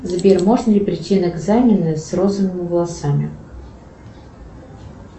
сбер можно ли прийти на экзамены с розовыми волосами